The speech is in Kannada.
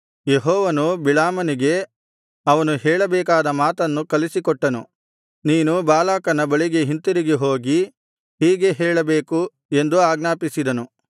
ಯೆಹೋವನು ಬಿಳಾಮನಿಗೆ ಅವನು ಹೇಳಬೇಕಾದ ಮಾತನ್ನು ಕಲಿಸಿಕೊಟ್ಟು ನೀನು ಬಾಲಾಕನ ಬಳಿಗೆ ಹಿಂತಿರುಗಿ ಹೋಗಿ ಹೀಗೆ ಹೇಳಬೇಕು ಎಂದು ಆಜ್ಞಾಪಿಸಿದನು